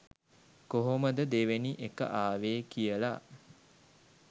කොහොමද දෙවෙනි එක ආවේ කියලා.